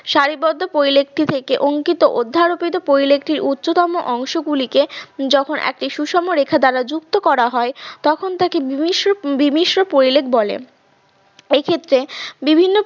সারিবদ্ধ পরিলেখটি থেকে অঙ্কিত অদ্ধ্যারপিত পরিলেখটির উচ্চতম অংশগুলিকে যখন একটি সুষমরেখা দ্বারা যুক্ত করা হয় তখন তাকে বিমিশ্র বিমিশ্র পরিলেখ বলে এক্ষেত্রে বিভিন্ন।